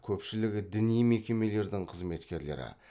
көпшілігі діни мекемелердің қызметкерлері